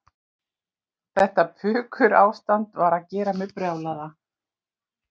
Þetta pukurástand var að gera mig brjálaða.